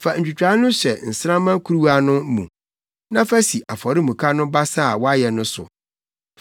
Fa ntwitae no hyɛ nsramma kuruwa no mu na fa si afɔremuka no basa a wɔayɛ no so.